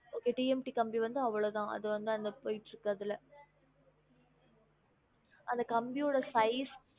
Okay T M T கம்பி வந்து அவ்ளோதான் அது வந்து அந்த போய்ட்டு இருக்குது அதுல அந்த கம்பியோட size